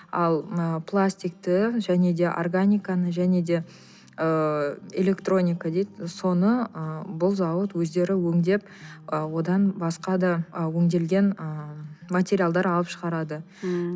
ал мына пластикты және де органиканы және де ыыы электроника дейді соны ыыы бұл зауыт өздері өңдеп ы одан басқа да ы өңделген ыыы материалдар алып шығарады ммм